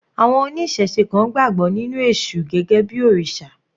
Àwọn oníṣẹ̀se kan gbàgbọ́ nínú èṣù gẹ́gẹ́ bí òrìṣà.